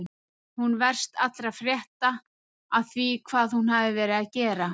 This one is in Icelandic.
Hún verst allra frétta af því hvað hún hafi verið að gera.